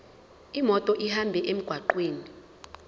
imoto ihambe emgwaqweni